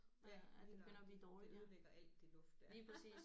Ja lige nøjagtigt det ødelægger alt det luft der